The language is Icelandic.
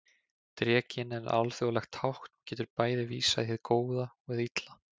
Drekinn er alþjóðlegt tákn og getur bæði vísað í hið góða og hið illa.